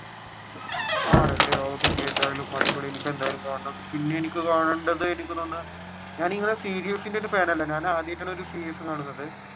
ആണല്ലേ okay എന്തായാലും അടിപൊളി ഇനിയിപ്പോ എന്തായാലും കാണണം. ഇനി എനിക്ക് കാണേണ്ടത് ഞാൻ ഇങ്ങനെ ഒരു സീരിസിന്റെ ഫാൻ അല്ല ഞാൻ ആദ്യമായിട്ടാണ് ഒരു സീരീസ് കാണുന്നത്.